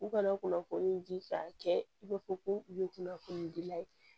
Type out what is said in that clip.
U kana kunnafoni di k'a kɛ i b'a fɔ ko u ye kunnafoni dila ye